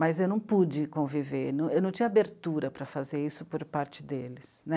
Mas eu não pude conviver, eu não tinha abertura para fazer isso por parte deles.